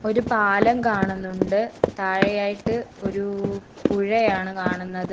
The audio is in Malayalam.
ഒരു പാലം കാണുന്നുണ്ട് താഴെയായിട്ട് ഒരു പുഴയാണ് കാണുന്നത്.